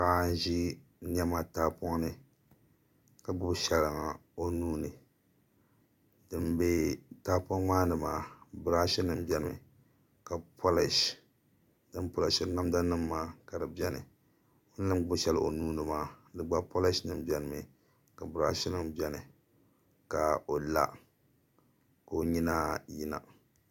Paɣa n ʒi niɛma tahapoŋ ni ka gbubi shɛŋa o nuuni din bɛ tahapoŋ maa ni maa birash nim biɛni ka polish din polishri namda nim maa ka di biɛni o mii ni gbubi shɛli o nuuni maa di gba polish nim biɛni mi ka birash nim biɛni ka o la ka o nyina yina